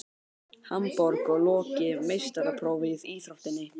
Hamborg og lokið meistaraprófi í íþróttinni.